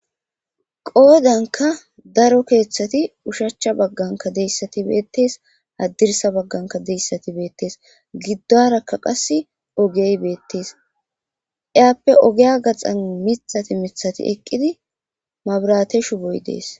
qoodanka daro keeththati ushachcha bagganka deyssati beettes haddirsa bagganka deyssati beettees giddarakka qas ogey beettes iyaappe ogeya gaxan mithati mithati eqqidi mabrateshu boy dees